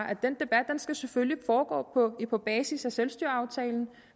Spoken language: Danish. at den debat selvfølgelig foregå på basis af selvstyreaftalen